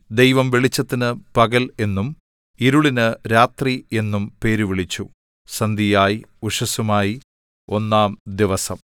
ദൈവം വെളിച്ചത്തിന് പകൽ എന്നും ഇരുളിന് രാത്രി എന്നും പേരിട്ടു സന്ധ്യയായി ഉഷസ്സുമായി ഒന്നാം ദിവസം ദൈവം വെളിച്ചത്തിനു പകൽ എന്നും ഇരുളിനു രാത്രി എന്നും പേരുവിളിച്ചു സന്ധ്യയായി ഉഷസ്സുമായി ഒന്നാം ദിവസം